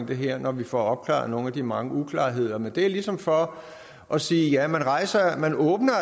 det her når vi får opklaret nogle af de mange uklarheder men det er ligesom for at sige at man